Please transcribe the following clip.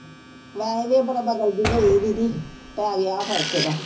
ਵੈਸੇ ਤਾਂ ਇਹ ਬੜਾ ਬਦਲ ਜਿਹੀ ਗਈ ਦੀਦੀ। ਪੈ ਗਿਆ ਫਰਕੇ ਏਦਾ